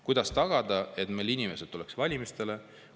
Kuidas tagada, et inimesed tuleksid valimistele?